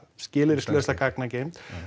skilyrðislausa gagnageymd